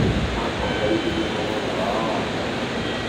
Nĩ akomborithĩtie mũgũnda wao wa kahũa